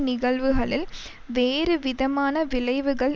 நிகழ்வுகளில் வேறுவிதமான விளைவுகள்